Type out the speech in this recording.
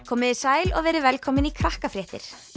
komiði sæl og verið velkomin í Krakkafréttir